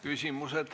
Küsimused.